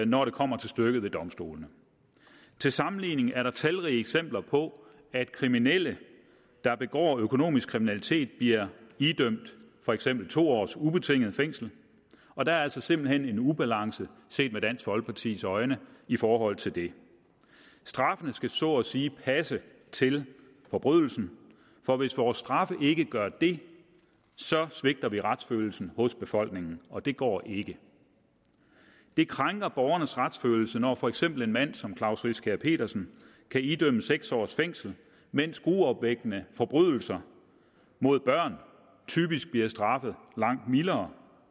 når det kommer til stykket ved domstolene til sammenligning er der talrige eksempler på at kriminelle der begår økonomisk kriminalitet bliver idømt for eksempel to års ubetinget fængsel og der er altså simpelt hen en ubalance set med dansk folkepartis øjne i forhold til det straffen skal så at sige passe til forbrydelsen for hvis vores straffe ikke gør det svigter vi retsfølelsen hos befolkningen og det går ikke det krænker borgernes retsfølelse når for eksempel en mand som klaus riskær pedersen kan idømmes seks års fængsel mens gruopvækkende forbrydelser mod børn typisk bliver straffet langt mildere